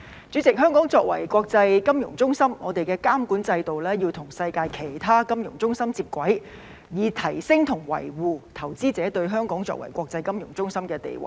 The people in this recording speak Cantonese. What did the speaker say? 主席，香港作為國際金融中心，香港的監管制度要與世界其他金融中心接軌，以提升和維護香港在投資者眼中作為國際金融中心的地位。